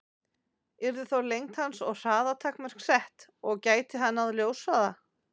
Yrðu þá lengd hans og hraða takmörk sett, og gæti hann náð ljóshraða?